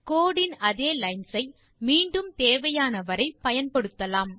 கோடு இன் அதே லைன்ஸ் ஐ மீண்டும் தேவையான வரை பயன்படுத்தலாம்